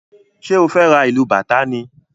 ṣe o fè rá ilú bàtá ni?